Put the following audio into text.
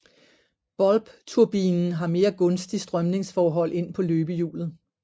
Bulbturbinen har mere gunstig strømningsforhold ind på løbehjulet